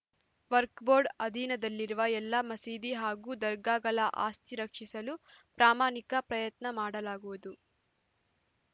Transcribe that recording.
ವಕ್ಫ್ board ಅಧೀನದಲ್ಲಿರುವ ಎಲ್ಲ ಮಸೀದಿ ಹಾಗೂ ದರ್ಗಾಗಳ ಆಸ್ತಿ ರಕ್ಷಿಸಲು ಪ್ರಾಮಾಣಿಕ ಪ್ರಯತ್ನ ಮಾಡಲಾಗುವುದು